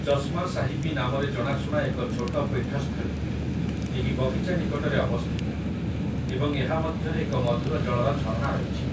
ଚସ୍ମା ସାହିବୀ' ନାମରେ ଜଣାଶୁଣା ଏକ ଛୋଟ ପୀଠସ୍ଥଳୀ, ଏହି ବଗିଚା ନିକଟରେ ଅବସ୍ଥିତ ଏବଂ ଏହା ମଧ୍ୟରେ ଏକ ମଧୁର ଜଳର ଝରଣା ରହିଛି ।